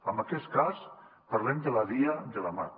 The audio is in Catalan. en aquest cas parlem de la via de la mat